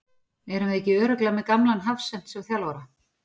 Erum við ekki örugglega með gamlan hafsent sem þjálfara?